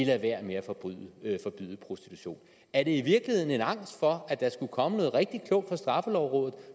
lader være med at forbyde prostitution er det i virkeligheden en angst for at der skulle komme noget rigtig klogt fra straffelovrådet